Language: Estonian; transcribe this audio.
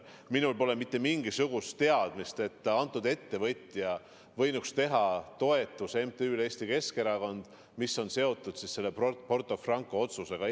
Minul pole mitte mingisugust teadmist, et see ettevõtja võinuks teha MTÜ-le Eesti Keskerakond toetuse, mis on seotud selle Porto Franco otsusega.